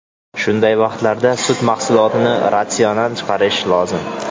Shunday vaqtlarda sut mahsulotini ratsiondan chiqarish lozim.